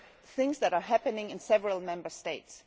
things that are happening in several Member States.